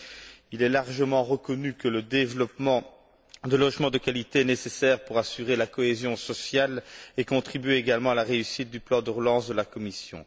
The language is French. Mais il est largement reconnu que le développement de logements de qualité est nécessaire pour assurer la cohésion sociale et contribuer à la réussite du plan de relance de la Commission.